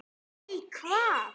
Nei, hvað?